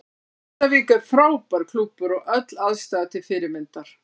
Grindavík er frábær klúbbur og öll aðstaða er til fyrirmyndar.